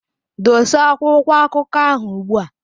Dosa akwụkwọ akụkọ ahụ ugbua!